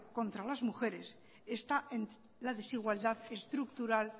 contra las mujeres está en la desigualdad estructural